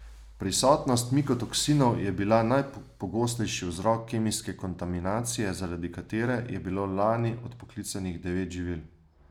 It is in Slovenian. Prisotnost mikotoksinov je bila najpogostejši vzrok kemijske kontaminacije, zaradi katere je bilo lani odpoklicanih devet živil.